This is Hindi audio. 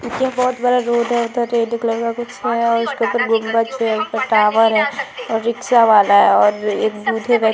क्योकि यहाँ बहुत यहाँ बहुत बड़ा रोड है उधर रेड कलर का कुछ है उसके ऊपर गोबंछ है ऊपर टॉवर है और रिक्सा वाला है और एक बूढ़े व्य --